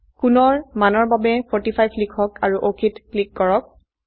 কোণৰ মানৰ বাবে 45 লিখক আৰু OKত ক্লিক কৰক